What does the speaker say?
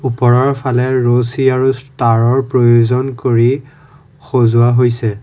ওপৰৰ ফালে ৰছী আৰু তাঁৰৰ প্ৰয়োজন কৰি সজোৱা হৈছে।